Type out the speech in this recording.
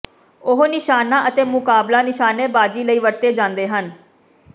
ਉਹ ਨਿਸ਼ਾਨਾ ਅਤੇ ਮੁਕਾਬਲਾ ਨਿਸ਼ਾਨੇਬਾਜ਼ੀ ਲਈ ਵਰਤੇ ਜਾਂਦੇ ਹਨ